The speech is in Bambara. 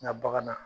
Nka bagan na